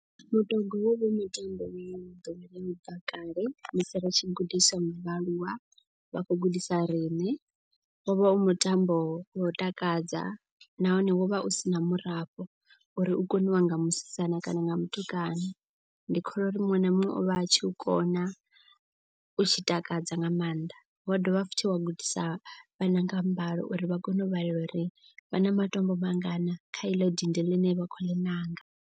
Mutogwa wo vha u mutambo une wo dowelea u bva kale musi ri tshi gudiswa nga vhaaluwa. Vha khou gudisa riṋe wo vha u mutambo wa u takadza nahone wovha u sina murafho. Uri u koniwa nga musidzana kana nga mutukana ndi kholwa uri muṅwe na muṅwe ovha a tshi u kona u tshi takadza nga maanḓa. Wa dovha futhi wa gudisa vhana nga mbalo uri vha kone u vhelela uri vha na matombo mangana kha eḽo dindi ḽine vha khou ḽi ṋanga.